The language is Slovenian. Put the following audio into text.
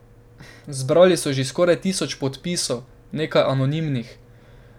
Zbrali so že skoraj tisoč podpisov, nekaj anonimnih.